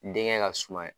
Denkɛ ka suma